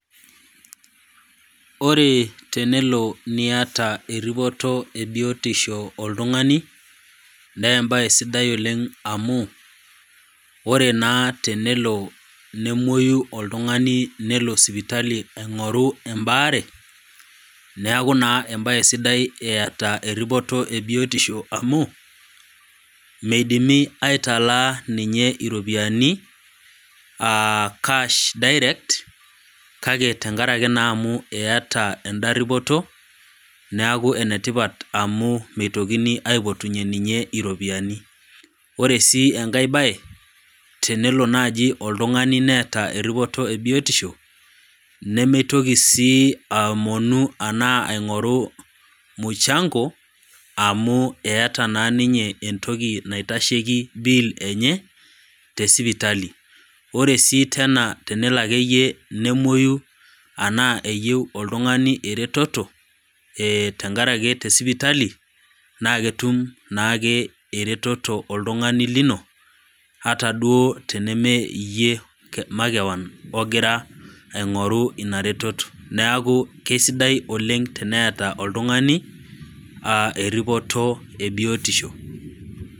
Ore tenelo naiata eripoto e biotisho oltung'ani, naa embae sidai oleng' amu, ore naa tenelo nemwoyu oltung'ani nelo sipitali aing'oru embaare, neaku naa embae sidai eing'oru biotisho amu meidimi aitalaa ninye iropiani aa cash direct, kake tenkaraki amu eata enda ripoto, neaku enetipat amu meitokini aipotunye ninye iropiani. Ore sii enkai baye, tenelo naaji neata oltung'ani eripore e biotisho, nemeitoki sii aomonu arashu aing'oru mushango amu eata naa ninye entoki naitesheki bill enye te sipitali, ore sii teena tenelo ake iyie nemoyu, anaa eyou oltung'ani eretoto, tenkaraki te sipitali, naaketum naake eretoto oltung'ani lino, ata duo nabo mee iyie makewon ogira aing'oru ina retoto, neaku kesidai oleng' teneata oltung'ani eripoto e biotisho.